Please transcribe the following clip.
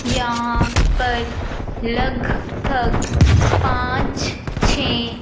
यहां पर लगभग पांच छ--